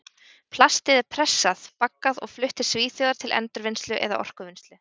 Plastið er pressað, baggað og flutt til Svíþjóðar til endurvinnslu eða orkuvinnslu.